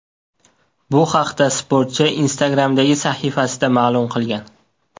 Bu haqda sportchi Instagram’dagi sahifasida ma’lum qilgan .